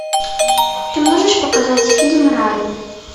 ты можешь показать фильм рай